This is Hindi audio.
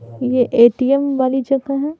ये ए_टी_एम वाली जगह है।